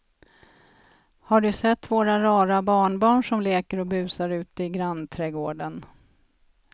Har du sett våra rara barnbarn som leker och busar ute i grannträdgården!